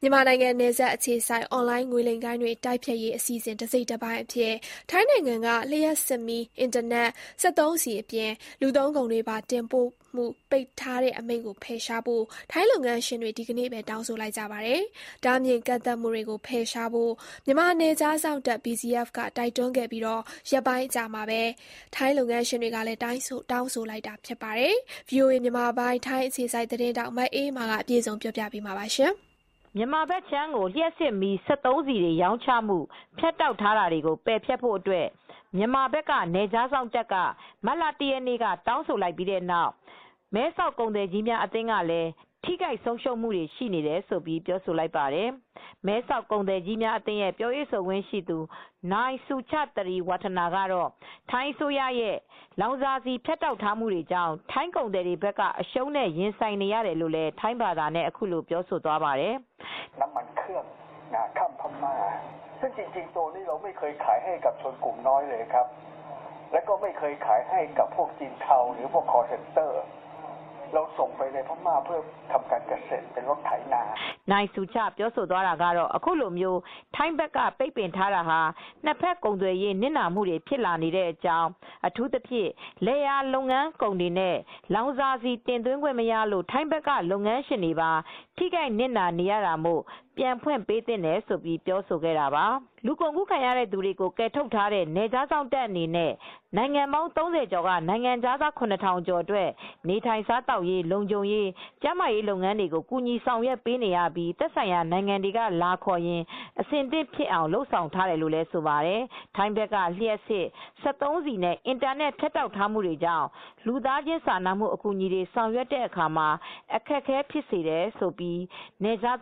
မြန်မာနိုင်ငံနယ်စပ်အခြေစိုက် အွန်လိုင်းငွေလိမ်ဂိုဏ်းတွေ တိုက်ဖျက်ရေး အစီအစဉ်တစိတ်တပိုင်း အဖြစ် ထိုင်းနိုင်ငံက လျှပ်စစ်မီး၊ အင်တာနက်၊ စက်သုံးဆီအပြင် လူသုံးကုန်တွေပါ တင်ပို့မှုပိတ်ထားတဲ့ အမိန့်ကို ဖယ်ရှားဖို့ ထိုင်းလုပ်ငန်းရှင်တွေ ဒီကနေ့ပဲ တောင်းဆိုလိုက်ကြပါတယ်။ တားမြစ်ကန့်သတ်မှု တွေကို ဖယ်ရှားဖို့ မြန်မာနယ်ခြားစောင့်တပ် BGF က တိုက်တွန်းခဲ့ပြီး ရက်ပိုင်းအကြာမှာပဲ ထိုင်း လုပ်ငန်းရှင်တွေကလည်း တောင်းဆိုလိုက်တာ ဖြစ်ပါတယ်။ ဗွီအိုအေမြန်မာပိုင်း ထိုင်းအခြေစိုက် သတင်းထောက် မအေးအေးမာ အပြည့်အစုံတင်ပြထားပါတယ်။ မြန်မာဘက်ခြမ်း ကို လျှပ်စစ်မီး၊ စက်သုံးဆီတွေ ရောင်းချမှု ဖြတ်တောက်ထားတာတွေကိုပယ်ဖျက်ဖို့ အတွက် မြန်မာဘက်က နယ်ခြားစောင့်ကမတ်လ (၁) ရက်နေ့က တောင်းဆိုလိုက်ပြီး မဲဆောက် ကုန်သည်ကြီးများအသင်းကလည်း လောင်စာဆီလုပ်ငန်းတွေလည်း ထိခိုက်ဆုံးရှုံးမှုတွေရှိနေတယ်လို့ ပြောလိုက်ပါတယ်။ မဲဆောက်ကုန်သည်အသင်း ‌ပြောရေးဆိုခွင့်ရှိသူ နိုင် ဆူချသရီ ဝပ်ထနာကတော့ ထိုင်းအစိုးရရဲ့ လောင်စာဆီဖြတ်တောက်ထားတာတွေကြောင့် ထိုင်းကုန်သည်တွေဘက်က အရှုံးတွေနဲ့ ရင်ဆိုင်နေရတယ်လို့ ထိုင်းဘာသာနဲ့အခုလိုပြောသွားပါတယ်။ “နိုင် ဆူချပြောသွားတာကတော့ အခုလိုထိုင်းဘက်ကပိတ်ပင်ထားတာဟာ နှစ်ဘက်ကုန်သွယ်ရေး နစ်နာမှုတွေဖြစ်လာနေကြောင်း အထူးသဖြင့်လယ်ယာလုပ်ငန်းကုန်တွေနဲ့ လောင်စာဆီ တင်သွင်ခွင့်မရလို့ ထိုင်းဘက်ကလုပ်ငန်းရှင်တွေပါ ထိခိုက်နစ်နာနေရတာမို့ ပြန်ဖွင့်ပေးသင့်တယ်လို့ ပြောဆိုခဲ့တာပါ။” လူကုန်ကူးခံရသူတွေကိုကယ်ထုတ်ထားတဲ့နယ်ခြားစောင့်တပ်အနေနဲ့ နိုင်ငံပေါင်း (၃၀) ကျော်က နိုင်ငံခြားသား(၇,၀၀၀) ကျော်အတွက်နေထိုင်စားသောက်ရေး၊ လုံခြုံရေးကျန်းမာရေးလုပ်ငန်းတွေကို ကူညီဆောင်ရွက်ပေးနေပြီး သက်ဆိုင်ရာနိုင်ငံတွေကလာခေါ်ရင် အဆင့်သင့်ဖြစ်အောင် လုပ်ဆောင် ထားတယ်လို့ဆိုပါတယ်။ ထိုင်းဘက်က လျှပ်စစ်၊ စက်သုံးဆီနဲ့ အင်တာနက် ဖြတ်တောက်မှုတွေကြောင့် လူသားချင်းစာနာမှု အကူအညီတွေ ဆောင်ရွက်ရာမှာ အခက်အခဲဖြစ်စေတယ်လို့လည်း BGF က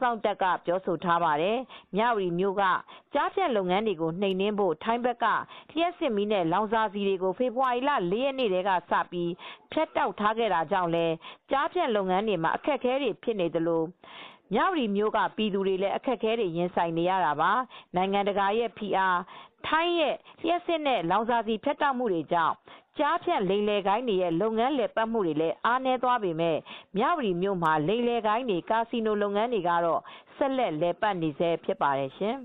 ပြောထားပါတယ်။ မြ၀တီမြို့က ကျားဖြန့်လုပ်ငန်းတွေကို နှိမ်နင်းနိုင်ဖို့ ထိုင်းဘက်က လျှပ်စစ်မီးနဲ့လောင်စာဆီတွေကို ဖေဖေါ်ဝါရီလ (၄) ရက်နေ့ကစပြီး ဖြတ်တောက်ထားခဲ့တာကြောင့်လည်း ကျားဖြန့်လုပ်ငန်းတွေမှာ အခက်အခဲတွေဖြစ်နေသလို မြ၀တီမြို့က ပြည်သူတွေလည်း အခက်အခဲတွေရင်ဆိုင်နေရတာပါ။ နိုင်ငံတကာရဲ့ဖိအား၊ ထိုင်းနိုင်ငံကလျှပ်စစ်နဲ့ လောင်စာဆီဖြတ်တောက်မှုတွေကြောင့် ကျားဖြန့် လိမ်လည်ဂိုဏ်းတွေရဲ့ လုပ်ငန်းလည်ပတ်မှုတွေအားနည်းသွားပေမယ့် မြ၀တီမြို့မှာ လိမ်လည်ဂိုဏ်းတွေနဲ့ ကာစီနိုလုပ်ငန်းတွေကတော့ဆက်လက်လည်ပတ်နေဆဲဖြစ်ပါတယ်ရှင်